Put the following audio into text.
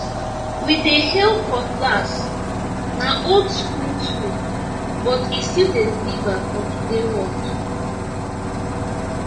we dey hail cutlassna old school tool but e still dey deliver for today work